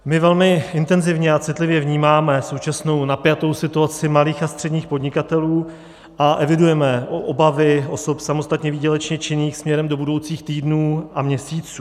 My velmi intenzivně a citlivě vnímáme současnou napjatou situaci malých a středních podnikatelů a evidujeme obavy osob samostatně výdělečně činných směrem do budoucích týdnů a měsíců.